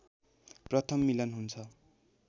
प्रथम मिलन हुन्छ